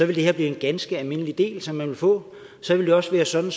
det her blive en ganske almindelig del som man vil få så vil det også være sådan